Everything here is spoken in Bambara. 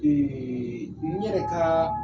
Ee n yɛrɛ ka